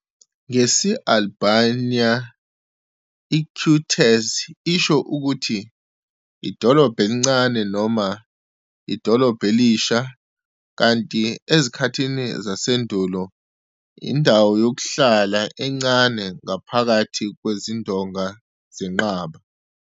Ngesi-Albania i- "qytezë" isho ukuthi "idolobha elincane" noma "idolobha elisha", kanti ezikhathini zasendulo "indawo yokuhlala encane ngaphakathi kwezindonga zenqaba".